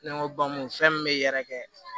Ne ko bamuso fɛn min bɛ yɛrɛkɛ